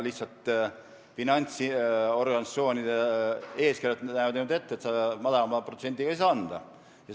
Lihtsalt finantsorganisatsioonide eeskirjad näevad niimoodi ette, et madalama protsendiga ei saa anda.